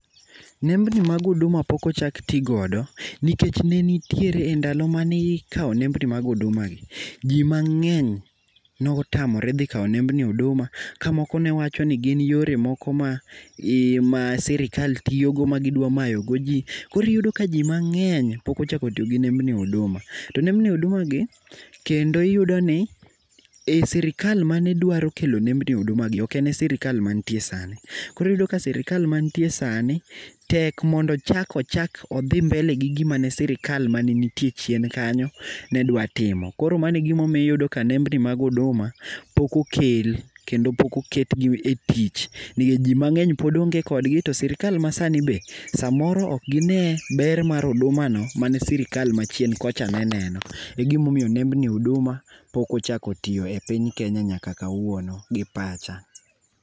Nembni mag Huduma pok ochak ti godo nikech ne nitiere endalo mane ikawo nembni mag Hudumagi, ji mang'eny ne otamre dhi kawo nembni mag Huduma ka moko ne wacho ni gin yore moko ma sirkal tiyogo magidwa mayo goji. Koro iyudo ka ji mang'eny pok ochako tiyo gi nembni Huduma. To nembni Huduma gi kendo iyudo ni ei sirkal mane dwaro kelo nembni Hudumagi ok en e sirkal mantie sani. Koro iyudo ka sirkal mantie sani, tek mondo ochak ochak odhi mbele gi gima ne sirkal manenitie chien kanyo ne dwa timo. Koro mano e iyudo ka nembni mag Huduma pok okel kendo pok oketgi etich nikech ji mang'eny pod onge kodgi to sirkal masanibe samoro ok gine ber mar Hudumano mane sirkal machien kocha ne neno. Egima omiyo nembni Huduma pok ochako tiyo e piny Kenya ynaka kawuono, gi pacha.